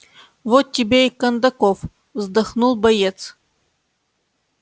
вот тебе и кондаков вздохнул боец